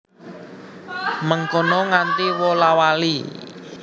Mengkono nganti wola wali